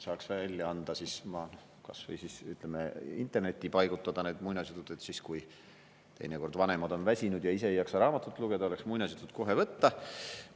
Saaks välja anda või kas või internetti panna need muinasjutud, et kui teinekord vanemad on väsinud ja ei jaksa raamatut lugeda, oleks muinasjutud kohe võtta.